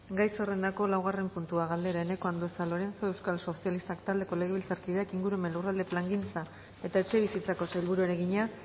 gai zerrendako laugarren puntua galdera eneko andueza lorenzo euskal sozialistak taldeko legebiltzarkideok ingurumen lurralde plangintza eta etxebizitzako sailburuari egina